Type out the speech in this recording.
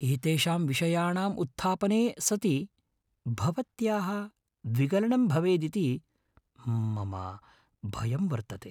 एतेषां विषयाणाम् उत्थापने सति भवत्याः विगलनं भवेदिति मम भयं वर्तते ।